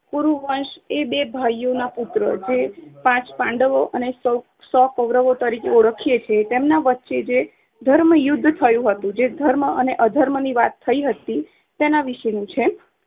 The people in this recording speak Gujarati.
બે ભાઈઓના પુત્રો જે પાંચ પાંડવો અને શૉ~ સો કૌરવો તરીકે ઓળખીયે છીએ તેમના વચ્ચે જે ધર્મયુદ્ધ થયું હતું જે ધર્મ અને અધર્મ ની વાત થાય હતી તેના વિષે ની છે.